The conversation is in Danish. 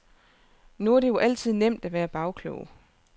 Nu er det jo altid nemt at være bagklog.